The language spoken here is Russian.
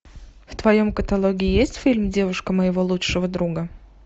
в твоем каталоге есть фильм девушка моего лучшего друга